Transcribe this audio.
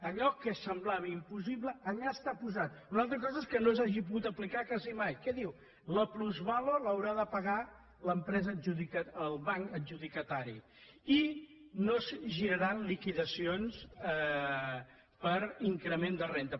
allò que semblava impossible allà està posat una altra cosa és que no s’hagi pogut aplicar quasi mai que diu la plusvàlua l’haurà de pagar el banc adjudicatari i no es giraran liquidacions per increment de renda